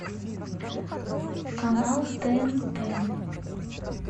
канал тнт